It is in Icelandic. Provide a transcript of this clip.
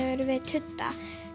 við tudda